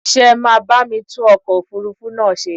Ṣé máa bámi tún ọkọ̀ òfurufú náà ṣe.